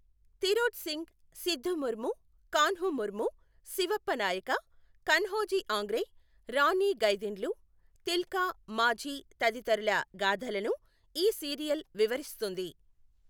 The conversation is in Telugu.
తిరోథ్ సింగ్, సిద్ధూ ముర్ము, కాన్హూ ముర్ము, శివప్ప నాయక, కన్హోజీ ఆంగ్రే, రాణి గైదిన్ల్యూ, తిల్కా మాఝీ తదితరుల గాథలను ఈ సీరియల్ వివరిస్తుంది.